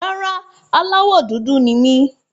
Rárá, aláwọ̀ dúdú ni mí.